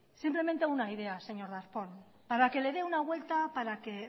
simplemente una idea señor darpón para que le de una vuelta para que